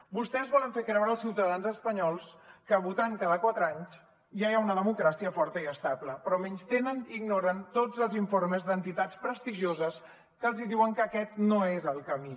vostès volen fer creure als ciutadans espanyols que votant cada quatre anys ja hi ha una democràcia forta i estable però menystenen i ignoren tots els informes d’entitats prestigioses que els diuen que aquest no és el camí